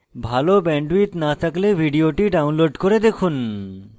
ভাল bandwidth না থাকলে ভিডিওটি download করে দেখুন